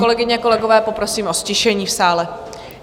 Kolegyně, kolegové, poprosím o ztišení v sále.